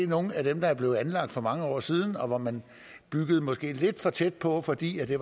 nogle af dem der er blevet anlagt for mange år siden og man byggede måske lidt for tæt på fordi det